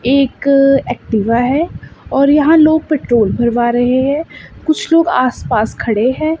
एक एक्टिवा है और यहां लोग पेट्रोल भरवा रहे हैं कुछ लोग आस पास खड़े हैं।